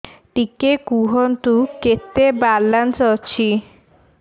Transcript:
ଟିକେ କୁହନ୍ତୁ କେତେ ବାଲାନ୍ସ ଅଛି